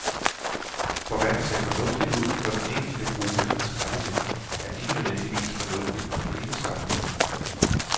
For hvad der ser fornuftigt ud for den enkelte gruppe af skraldemænd, er ikke nødvendigvis fornuftigt for hele samfundet.